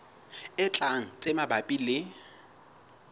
e tlang tse mabapi le